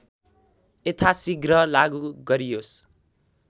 यथासिघ्र लागु गरियोस्